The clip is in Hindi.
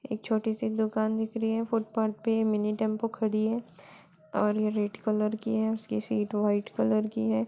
एक छोटी सी दुकान दिख री है फुटपाथ पे मिनी टेम्पो खड़ी है और ये रेड कलर की है उसकी सीट वाईट कलर की है।